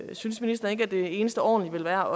synes ministeren ikke at det eneste ordentlige ville være